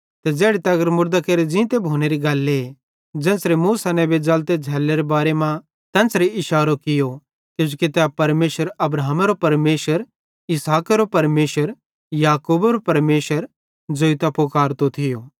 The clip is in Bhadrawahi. ते ज़ैड़ी तगर मुड़दां केरो ज़ींते भोनेरी गल्ले ज़ेन्च़रे मूसा नेबेरे ज़लते झ़ैल्लोवेरे बारे मां तेन्च़रे इशारो कियो किजोकि तै परमेशर अब्राहमेरो परमेशर इसहाकेरो परमेशर ते याकूबेरो परमेशर ज़ोइतां फुकारतो थियो